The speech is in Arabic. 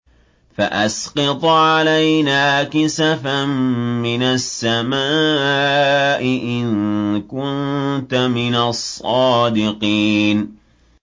فَأَسْقِطْ عَلَيْنَا كِسَفًا مِّنَ السَّمَاءِ إِن كُنتَ مِنَ الصَّادِقِينَ